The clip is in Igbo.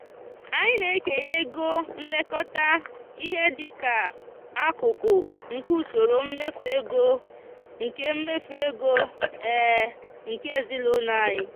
anyị na-ekenye ego nlekọta ihe di ka akụkụ nke usoro mmefu ego nke mmefu ego nke ezinụụlọ anyị.